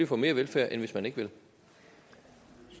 få mere velfærd end hvis man ikke